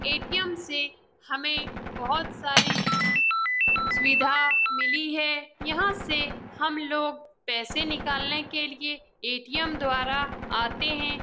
ATM. से हमे बहुत सारी सुविधा मिली है यहाँ से हम लोग पैसे निकालने के लिए ए.टी.एम. द्वारा आते हैं।